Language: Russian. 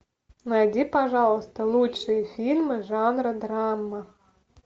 найди пожалуйста лучшие фильмы жанра драма